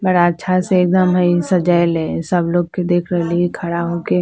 बड़ा अच्छा से एकदम हेय सजेइले सब लोग के देख रहलिए खड़ा होके --